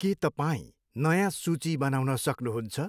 के तपाईँ नयाँ सूची बनाउन सक्नुहुन्छ?